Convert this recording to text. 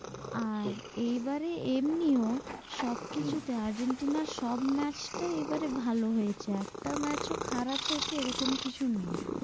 আর এইবারে এমনিও সব কিছুতে আর্জন্টিনার সব match টাই এবারে ভালো হয়েছে, একটা match খারাপ হয়েছে এরকম কিছু নেই,